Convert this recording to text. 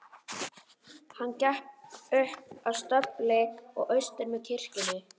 Hann gekk upp að stöpli og austur með kirkjunni.